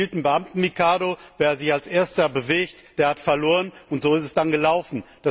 Sie spielten Beamten Mikado Wer sich als Erster bewegt, der hat verloren. Und so ist es dann gelaufen.